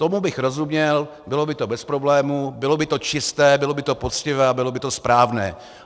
Tomu bych rozuměl, bylo by to bez problémů, bylo by to čisté, bylo by to poctivé a bylo by to správné.